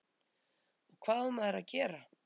og hvað á maður að gera?